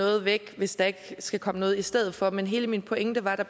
noget væk hvis der ikke skal komme noget i stedet for men hele min pointe var at der